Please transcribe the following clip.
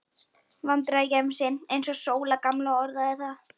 Vandræðagemsi, eins og Sóla gamla orðaði það.